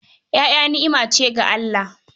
Ƴaƴa ni'ima ce daga Allah.